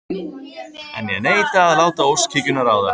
En ég neita að láta óskhyggjuna ráða.